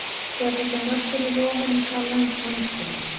þegar þessi mörk eru rofin er talað um samskynjun